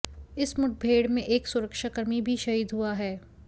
इस मुठभेड़ में एक सुरक्षाकर्मी भी शहीद हुआ है